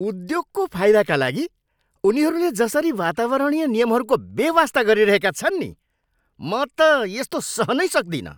उद्योगको फाइदाका लागि उनीहरूले जसरी वातावरणीय नियमहरूको बेवास्ता गरिरहेका छन् नि, म त यस्तो सहनै सक्दिनँ।